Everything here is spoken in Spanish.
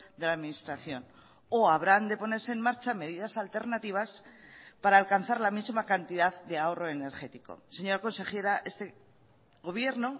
de la administración o habrán de ponerse en marcha medidas alternativas para alcanzar la misma cantidad de ahorro energético señora consejera este gobierno